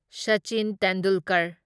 Sachin Tendulkar